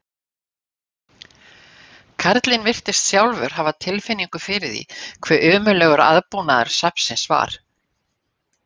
Karlinn virtist sjálfur hafa tilfinningu fyrir því hve ömurlegur aðbúnaður safnsins var.